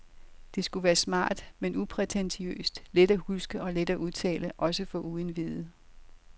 Det skulle være smart, men uprætentiøst, let at huske og let at udtale også for uindviede.